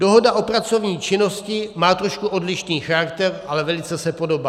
Dohoda o pracovní činnosti má trošku odlišný charakter, ale velice se podobá.